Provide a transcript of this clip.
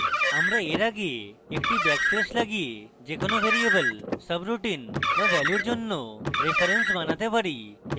আমরা we আগে একটি ব্যাকস্ল্যাশ লাগিয়ে যে কোনো ভ্যারিয়েবল subroutine বা ভ্যালুর জন্য reference বানাতে পারি